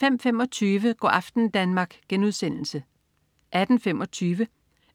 05.25 Go' aften Danmark* 18.25